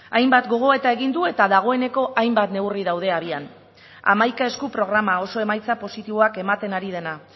hainbat gogoeta egin du eta dagoeneko hainbat neurri daude abian hamaika esku programa oso emaitza positiboak ematen ari dena